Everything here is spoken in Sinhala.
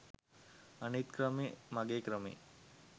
අනිත් ක්‍රමේ මගේ ක්‍රමේ